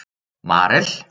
Marel